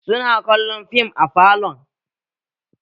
Su na kallon fim a falon